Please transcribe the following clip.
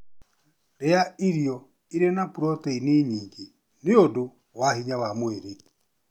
Rĩa irio irĩ na protĩni nyingĩ nĩũndũ wa hinya wa mwĩrĩ